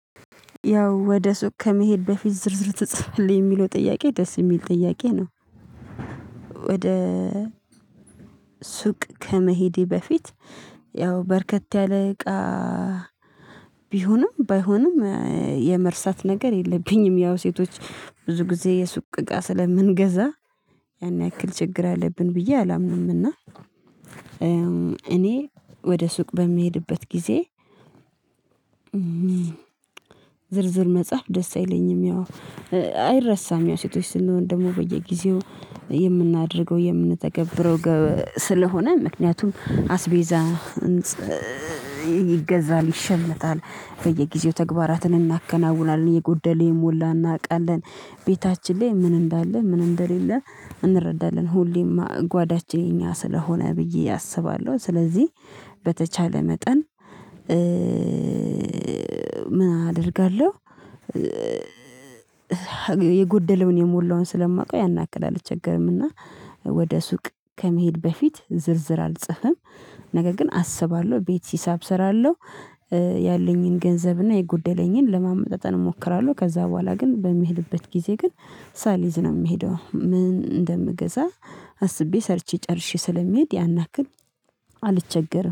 ያው ወደ ሱቅ ከመሄድ በፊት ዝርዝር ተጽፏል የሚለው ጥያቄ ደስ የሚል ጥያቄ ነው። ወደ ሱቅ ከመሄዴ በፊት ያው በርከት ያለ እቃ ቢሆንም ባይሆንም የመርሳት ነገር የለብኝም። ያው ሴቶች ብዙ ጊዜ የሱቅ እቃ ስለምንገዛ ያን ያክል ችግር አለብን ብዬ አላምንምና። እኔ ወደ ሱቅ በምሄድበት ጊዜ ዝርዝር መጻፍ ደስ አይለኝም። ያው አይረሳም ያው ሴቶች ስንሆን ደግሞ በየጊዜው የምናደርገው የምንተገብረው ስለሆነ ምክንያቱም አስቤዛ ይገዛል ይሸመታል በየጊዜው ተግባራትን እናከናውናለን የጎደለ የሞላ እናውቃለን። ቤታችን ላይ ምን እንዳለ ምን እንደሌለ እንረዳለን ሁሌም ጓዳችን የኛ ስለሆነ ብዬ አስባለሁ። ስለዚህ በተቻለ መጠን ምን አደርጋለሁ የጎደለውን የሞላውን ስለማውቀው ያን ያክል አልቸገርምና። ወደ ሱቅ ከመሄድ በፊት ዝርዝር አልጽፍም። ነገር ግን አስባለሁ ቤት ሂሳብ እሰራለሁ ያለኝን ገንዘብና የጎደለኝን ለማመጣጠን እሞክራለሁ። ከዛ በኋላ ግን በምሄድበት ጊዜ ግን ሳልይዝ ነው የምሄደው ምን እንደምገዛ አስቤ ሰርቼ ጨርሼ ስለሚሄድ ያናክል አልቸገርም